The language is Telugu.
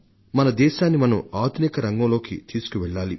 మన దేశాన్ని మనం ఆధునిక రంగంలోకి తీసుకువెళ్లాలి